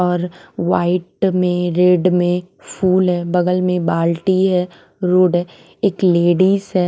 और वाइट में रेड में फूल है बगल में बाल्टी है रोड है एक लेडीज है।